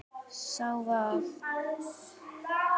Sá var